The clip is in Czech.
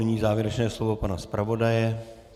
Nyní závěrečné slovo pana zpravodaje.